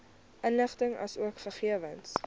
inligting asook gegewens